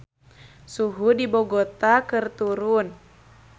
Suhu di Bogota keur turun